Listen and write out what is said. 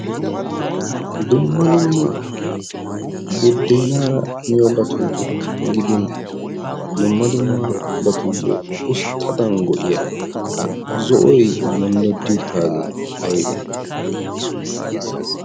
dumma dumma buddeenaara miyo batun gidin dumma dumma abatuyyo usttadan go'iya ha zo'oy yondoddi uttaagee aybe